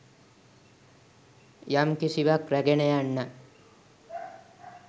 යම් කිසිවක් රැගෙන යන්නා.